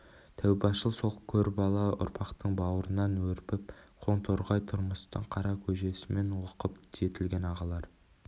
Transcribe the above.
тәубашыл сол көрбала ұрпақтың бауырынан өрбіп қоңторғай тұрмыстың қара көжесімен оқып жетілген ағалар